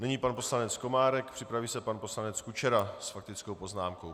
Nyní pan poslanec Komárek, připraví se pan poslanec Kučera s faktickou poznámkou.